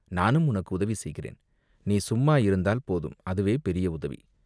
நானும் உனக்கு உதவி செய்கிறேன்." "நீ சும்மா இருந்தால் போதும் அதுவே பெரிய உதவி.